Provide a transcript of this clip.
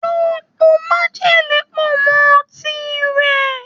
Lọ po májèlé pọ̀ mọ́ ọtí rẹ̀.